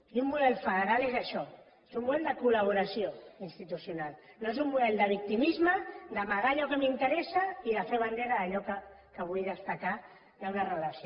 i un model federal és això és un model de col·laboració institucional no és un model de victimisme d’amagar allò que m’interessa i de fer bandera d’allò que vull destacar d’una relació